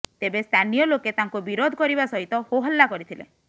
ତେବେ ସ୍ଥାନୀୟ ଲୋକେ ତାଙ୍କୁ ବିରୋଧ କରିବା ସହିତ ହୋହଲ୍ଲା କରିଥିଲେ